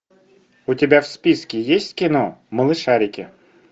у тебя в списке есть кино малышарики